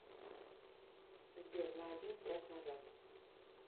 сбер на один трек назад